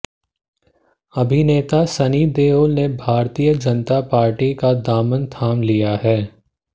अभिनेता सनी देओल ने भारतीय जनता पार्टी का दामन थाम लिया है